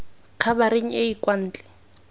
khabareng e e kwa ntle